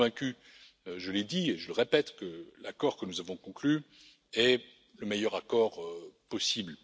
Je suis convaincu, je l'ai dit et je le répète, que l'accord que nous avons conclu est le meilleur accord possible.